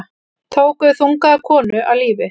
Tóku þungaða konu af lífi